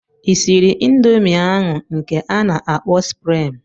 I sịrị ịndomii ahụ nke a na-akpọ suprịm?